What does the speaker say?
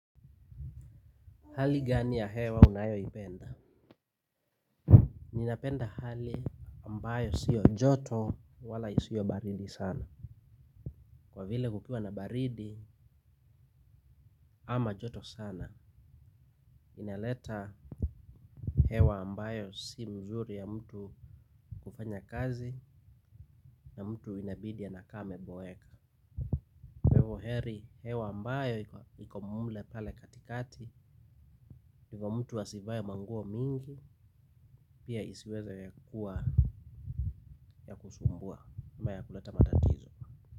Hali gani ya hewa unayoipenda. Ninapenda hali ambayo sio joto wala isiyo baridi sana. Kwa vile kukua na baridi ama joto sana inaleta hewa ambayo si nzuri ya mtu kufanya kazi ya mtu inabidi anakaa ameboeka kwa hivo heri hewa ambayo iko mule pale katikati. Kwa hivo mtu asivae manguo mingi pia isiweze kuwa ya kusumbua ama ya kuleta matatizo.